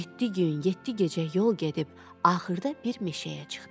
Yeddi gün, yeddi gecə yol gedib axırda bir meşəyə çıxdı.